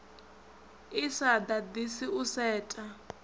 i sa ḓaḓisi u setha